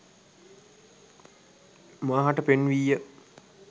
මා හට පෙන්වීය